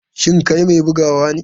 Shin kai mai bugawa ne?